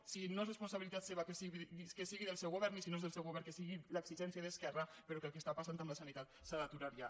si no és responsabilitat seva que sigui del seu govern i si no és del seu govern que sigui l’exigència d’esquerra però el que està passant amb la sanitat s’ha d’aturar ja